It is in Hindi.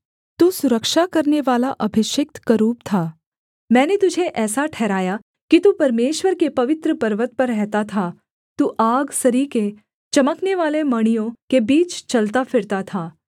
तू सुरक्षा करनेवाला अभिषिक्त करूब था मैंने तुझे ऐसा ठहराया कि तू परमेश्वर के पवित्र पर्वत पर रहता था तू आग सरीखे चमकनेवाले मणियों के बीच चलता फिरता था